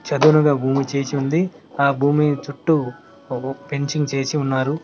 చదునుగా భూమి చేసి ఉంది ఆ భూమి చుట్టూ ఫెన్సింగ్ చేసి ఉన్నారు.